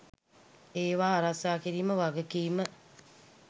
ඒවා ආරක්ෂා කිරීමේ වගකීම